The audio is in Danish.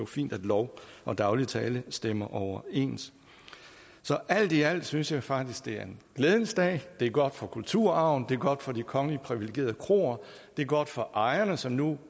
fint at lov og daglig tale stemmer overens så alt i alt synes jeg faktisk det er en glædens dag det er godt for kulturarven det er godt for de kongeligt priviligerede kroer det er godt for ejerne som nu